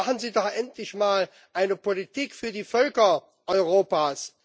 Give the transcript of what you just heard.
Machen Sie doch endlich mal eine Politik für die Völker Europas!